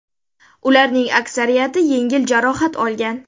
Ularning aksariyati yengil jarohat olgan.